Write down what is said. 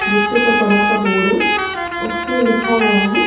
जिसके ऊपर बड़ा सा बोर्ड है उसपे लिखा हुआ है।